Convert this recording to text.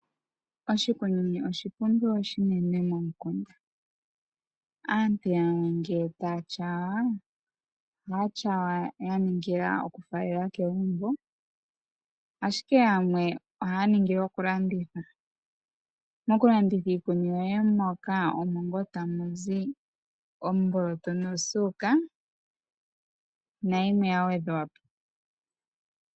Oshikuni osha pumbiwa momukunda. Aantu yamwe ngele taa tyaya, ohaa tyaya ya ningila okufaalela kegumbo. Ashike yamwe ohaa ningile okulanditha. Mokulanditha iikuni yoye moka omo ngaa tamu zi omboloto nosuuka nayimwe ya gwedhwa po.